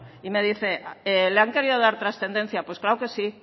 y me dice le han querido dar transcendencia pues claro que sí